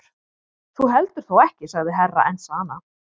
Þú heldur þó ekki sagði Herra Enzana.